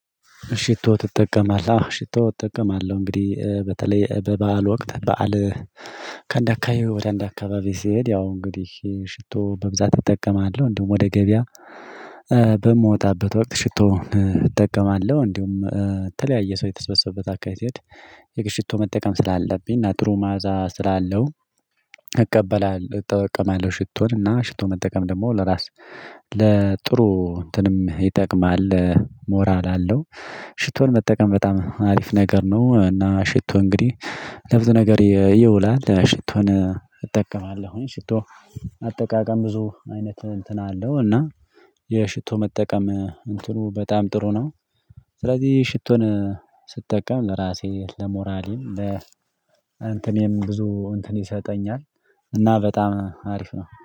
ሽቶ ትጠቀማለህ? አዎ ሽቶ እጠቀማለሁ እንግዲህ። በተለይ በበዓል ወቅት በዓል ከአንድ አካባቢ ወደ አንድ አካባቢ ስሄድ ያው እንግዲህ ሽቶ በብዛት እጠቀማለሁ። እንዲሁም ወደ ገበያ በምወጣበት ወቅት ሽቶ እጠቀማለሁ። እንዲሁም የተለያየ ሰው የተስበሰበት አካባቢ ስሄድ የግድ ሽቶ መጠቀም ስላለብኝ እና ጥሩ መዓዛ ስላለው እቀበላለሁ እጠቀማለሁ ሽቶን። እና ሽቶ መጠቀም ደግሞ ለራስ ለጥሩ እንትንም ይጠቅማል። ሞራል አለው። ሽቶን መጠቀም በጣም አሪፍ ነገር ነው። እና ሽቶ እንግዲህ ለብዙ ነገር ይውላል። ሽቶን እጠቀማለሁኝ። ሽቶ አጠቃቀም ብዙ አይነት እንትን አለው እና የሽቶ መጠቀም እንትኑ በጣም ጥሩ ነው ስለዚህ ሽቶን ስጠቀም ለራሴ ለሞራሌም ለ እንትኔም ብዙ እንትን ይሰጠኛል እና በጣም አሪፍ ነው።